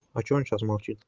а почему он сейчас молчит